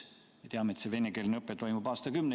Me teame, et venekeelne õpe toimub aastakümneid.